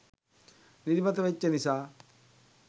නිදිමත වෙච්චි නිසා.